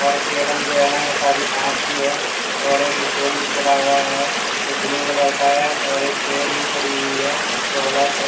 और टेबल जो है सारी कांच की है और एक स्टूल भी पड़ा हुआ है जो ब्लू कलर का है और एक चेयर भी पड़ी हुई है जो ब्लैक क--